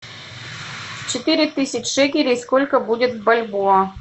четыре тысяч шекелей сколько будет в бальбоа